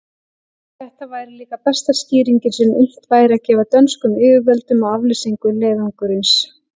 Þetta væri líka besta skýringin, sem unnt væri að gefa dönskum yfirvöldum á aflýsingu leiðangursins.